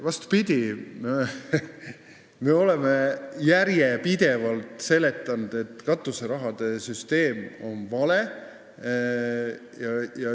Vastupidi, me oleme järjepidevalt seletanud, et katuseraha süsteem on vale.